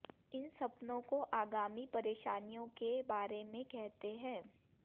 इन सपनों को आगामी परेशानियों के बारे में कहते हैं